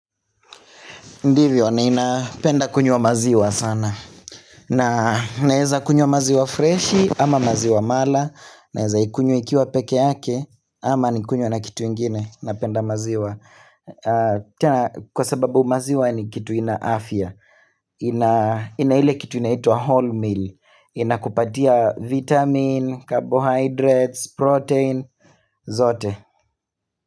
Ndivyo, nananapenda kunywa maziwa sana. Na naweza kunywa maziwa freshi, ama maziwa mala. Naweza ikunywa ikiwa pekee yake, ama nikunywe na kitu ingine. Napenda maziwa, tena kwa sababu maziwa ni kitu ina afya. Na ile kitu inaitwa whole meal. Inakupatia vitamin, carbohydrates, protein, zote.